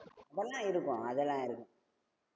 அதெல்லா இருக்கும். அதெல்லாம் இருக்கும்.